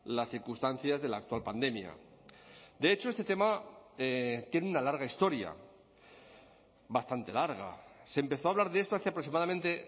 las circunstancias de la actual pandemia de hecho este tema tiene una larga historia bastante larga se empezó a hablar de esto hace aproximadamente